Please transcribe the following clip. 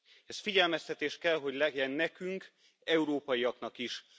Ez figyelmeztetés kell, hogy legyen nekünk, európaiaknak is.